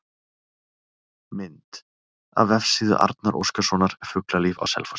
Mynd: Af vefsíðu Arnar Óskarssonar, Fuglalíf á Selfossi